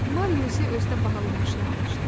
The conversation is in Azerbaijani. Mario isə özünə bahalı maşın almışdı.